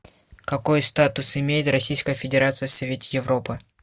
какой статус имеет российская федерация в совете европы